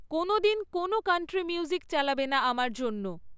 কোনওদিন কোনও country music চালাবে না আমার জন্য